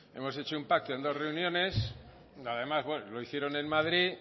hemos hecho un pacto en dos reuniones además lo hicieron en madrid